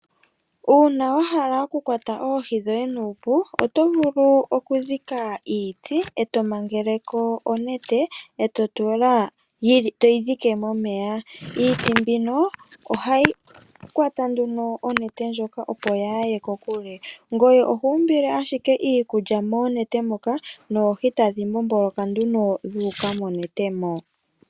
Uuna wahala oku kwata oohi dhoye nuupu, oto vulu okudhika iiti, eto mangeleko onete, toyi dhike momeya. Iiti mbino ohayi kwata nduno onete ndjoka opo kayi ye kokule. Ngoye oho umbile ashike iikulya monete moka noohi tadhi mbomboloka nduno dhuuka monete.